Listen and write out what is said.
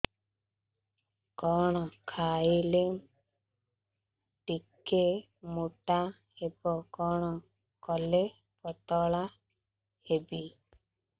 କଣ ଖାଇଲେ ଟିକେ ମୁଟା ହେବି କଣ କଲେ ପତଳା ହେବି